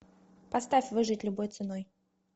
поставь выжить любой ценой